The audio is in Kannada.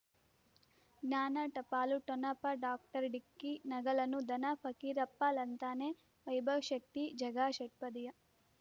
ಜ್ಞಾನ ಟಪಾಲು ಠೊಣಪ ಡಾಕ್ಟರ್ ಢಿಕ್ಕಿ ಣಗಳನು ಧನ ಫಕೀರಪ್ಪ ಳಂತಾನೆ ವೈಭವ್ ಶಕ್ತಿ ಝಗಾ ಷಟ್ಪದಿಯ